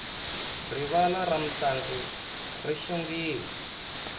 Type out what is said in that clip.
rivala ra mintlangu ri xongile